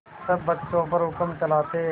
सब बच्चों पर हुक्म चलाते